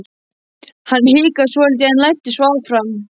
Hann hikaði svolítið en læddist svo fram.